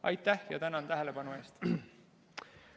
Aitäh ja tänan tähelepanu eest!